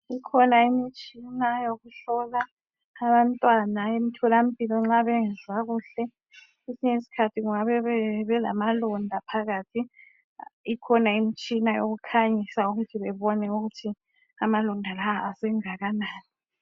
Kukhona imitshina yokuhlola abantwana etholampilo nxa bengezwa kuhle kwesinye iskhathi bengabe belamalonda phakathi ikhona imitshina yokukhanyisa ukuthi bebone ukuthi amalonda lawa asengakanani